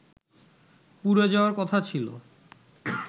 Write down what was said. পুড়ে যাওয়ার কথা ছিল